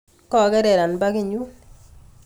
Kokerer anbakit nyun